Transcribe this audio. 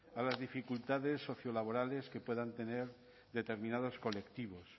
a las dificultades sociolaborales que puedan tener determinados colectivos